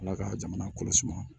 Ala ka jamana kɔlɔsi